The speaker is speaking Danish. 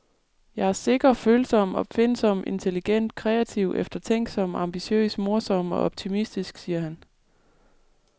Jeg er sikker, følsom, opfindsom, intelligent, kreativ, eftertænksom, ambitiøs, morsom og optimistisk, siger han.